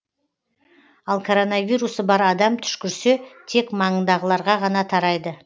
ал коронавирусы бар адам түшкірсе тек маңындағыларға ғана тарайды